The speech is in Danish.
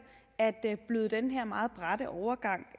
at bløde den her meget bratte overgang